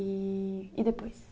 E... E depois?